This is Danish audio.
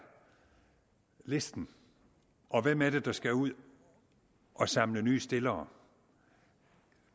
listen og hvem er det der skal ud at samle nye stillere